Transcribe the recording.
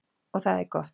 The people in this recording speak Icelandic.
Og það er gott.